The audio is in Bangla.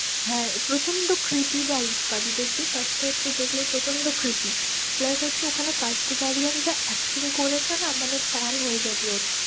হ্যাঁ, প্রচন্ড cripy vice পাবি দেখবি first এ একটু দেখলেই প্রচণ্ড cripy plus হচ্ছে ওখানে কার্তিক আরিয়ান্স যা acting করেছে না, মানে fan হয়ে যাবি ওর।